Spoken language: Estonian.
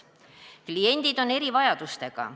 Kliendid on erivajadustega.